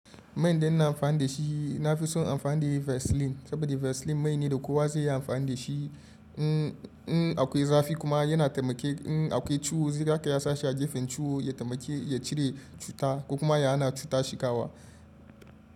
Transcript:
Mai da ina amfani da shi, na fi son amfani da vaseline saboda vaseline mai ne da kowa zai iya amfani da shi. In akwai zafi kuma yana taimake. In akwai ciwo zai sa shi a jefin ciwo ya taimake ya cire cuta, kuma yana cuta shikawa.